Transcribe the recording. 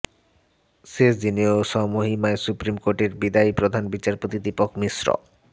শেষ দিনেও স্বমহিমায় সুপ্রিম কোর্টের বিদায়ী প্রধান বিচারপতি দীপক মিশ্র